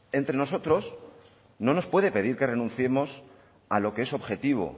entre nosotros no nos puede pedir que renunciemos a lo que es objetivo